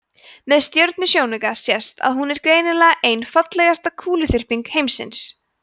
með stjörnusjónauka sést að hún er greinilega ein fallegasta kúluþyrping himinsins